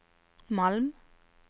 Malm